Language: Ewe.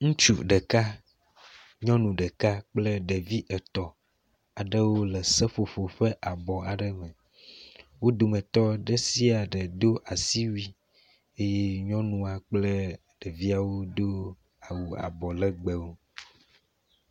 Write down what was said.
Ŋutsu ɖeka ,nyɔnu ɖeka kple ɖevi etɔ wole seƒoƒo me abɔ aɖe me, wo dometɔ ɖe sia ɖe wdo asiwui eye nyɔnua kple ɖeviawodo awu abɔ legbewo